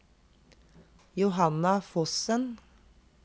Johanna Fossen